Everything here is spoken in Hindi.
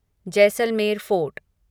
जैसलमेर फोर्ट